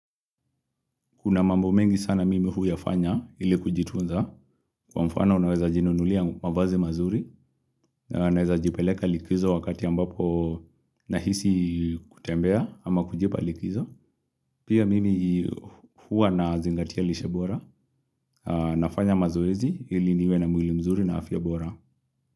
Kuna mambo mengi sana mimi huyafanya ili kujitunza kwa mfano unaweza jinunulia mavazi mazuri na anaweza jipeleka likizo wakati ambapo nahisi kutembea ama kujipa likizo pia mimi hua na zingatia lishe bora nafanya mazoezi ili niwe na mwili mzuri na afya bora.